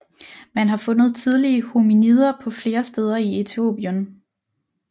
Man har fundet tidlige hominider på flere steder i Etiopien